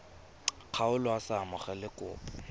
kgaolo a sa amogele kopo